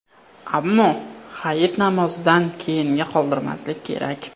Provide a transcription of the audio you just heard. Ammo Hayit namozidan keyinga qoldirmaslik kerak.